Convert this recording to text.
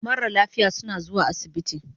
Mara lafiya suna zuwa asibiti